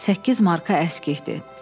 Səkkiz marka əskikdir.